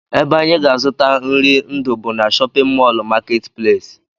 Ebe anyị ga-azụta nri ndụ bụ na shọpịn mọl marketplace